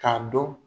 K'a dɔn